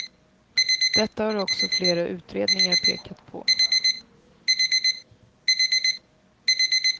Detta har också flera utredningar pekat på.